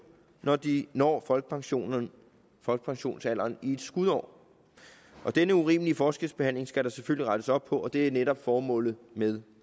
når de når folkepensionsalderen folkepensionsalderen i et skudår denne urimelige forskelsbehandling skal der selvfølgelig rettes op på og det er netop formålet med